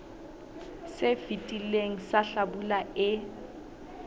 se fetileng sa hlabula e